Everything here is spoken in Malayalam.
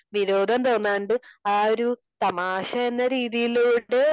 വിരോധം തോന്നാണ്ട് ആ ഒരു തമാശ എന്ന രീതിയിലോട്ട്